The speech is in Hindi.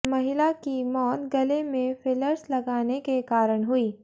महिला की मौत गले में फिलर्स लगाने के कारण हुई